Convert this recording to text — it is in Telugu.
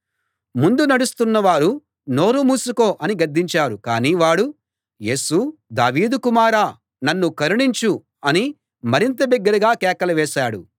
ముందు నడుస్తున్నవారు నోరు మూసుకో అని గద్దించారు కానీ వాడు యేసూ దావీదు కుమారా నన్ను కరుణించు అని మరింత బిగ్గరగా కేకలు వేశాడు